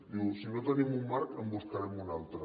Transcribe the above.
diu si no tenim un marc en buscarem un altre